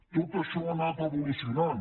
tot això ha anat evolucionant